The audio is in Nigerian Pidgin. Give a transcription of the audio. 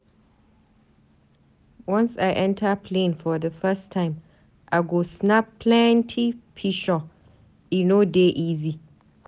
Once I enta plane for di first time, I go snap plenty pishure, e no dey easy.